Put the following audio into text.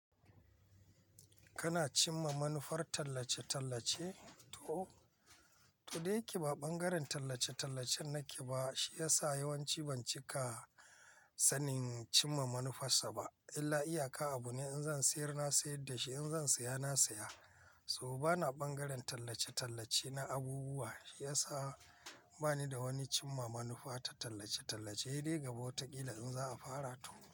Kana cimma manufar tallace-tallace? To, to dail yake ba bangaren tallace-tallace nake ba, shi ya sa yawanci ban cika sanin cimma manufarsa ba. Illa iyaka abu ne in zan siyar na siyar da shi, in zan saya na saya. So bana bangaren tallace-tallace na abubuwa, shi ya sa bani da wani cimma manufa ta tallace-tallace. Sai dai gaba wataƙila in za a fara to.